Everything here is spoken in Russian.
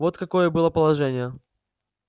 вот какое было положение